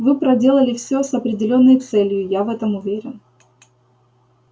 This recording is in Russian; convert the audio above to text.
вы проделали всё с определённой целью я в этом уверен